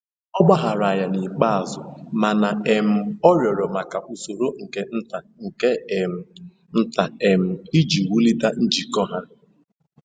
Ọ gbaghaara ya n'ikpeazụ, mana um ọ rịọrọ maka usoro nke nta nke um nta um iji wulite njikọ ha.